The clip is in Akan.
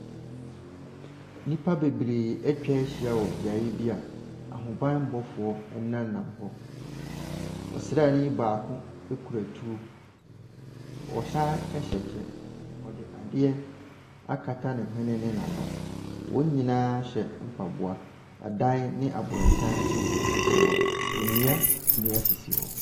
Nnipa bebree atwa ahyia wɔ beaeɛ bi a ahobanmmɔfoɔ nemam hɔ. Ɔsrani baako ekura tuo. Ɛsan hyɛ kyɛ. Ɔde adeɛ akata ne nhwene ne n'ano. Wɔn nyinaa hyɛ mpaboa. Adan ne abrɔsan nso sisi hɔ. Nnua, nnua sisi hɔ.